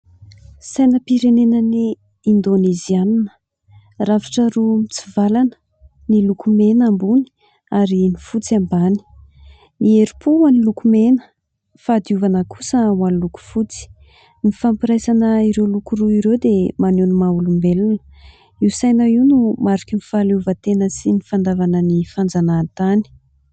Sainam-pirenenan'i Indonizianina rafitra roa mitsivalana : ny loko mena ambony ary ny fotsy ambany, ny herim-po ho an'ny loko mena ny fahadiovana kosa ho an'ny loko fotsy. Ny fampiraisana ireo loko roa ireo dia maneho ny maha olombelona, io saina io no mariky ny fahaleovantena sy ny fandavana ny fanjanahantany.